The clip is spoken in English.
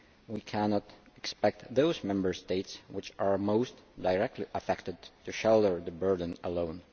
We cannot expect those Member States which are most directly affected to shoulder the burden alone.